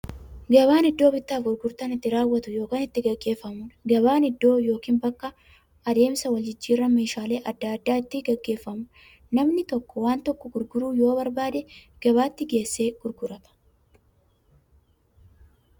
Gabaan iddoo bittaaf gurgurtaan itti raawwatu yookiin itti gaggeeffamuudha. Gabaan iddoo yookiin bakka adeemsa waljijjiiraan meeshaalee adda addaa itti gaggeeffamuudha. Namni tokko waan tokko gurguruu yoo barbaade, gabaatti geessee gurgurata.